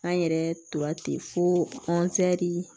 An yɛrɛ tora ten fo